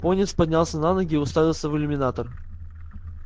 пониетс поднялся на ноги и уставился в иллюминатор